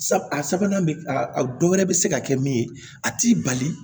A sabanan bɛ a dɔ wɛrɛ bɛ se ka kɛ min ye a t'i bali